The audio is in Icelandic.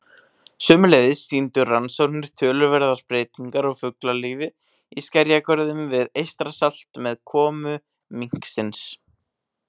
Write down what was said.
Sömuleiðis sýndu rannsóknir töluverðar breytingar á fuglalífi í skerjagörðum við Eystrasalt með komu minksins.